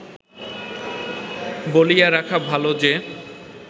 বলিয়া রাখা ভাল যে